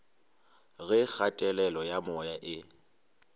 ge kgatelelo ya moya e